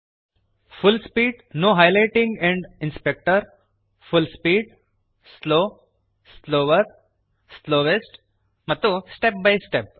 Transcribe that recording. full speed full speed slow slower slowest ಮತ್ತು step by step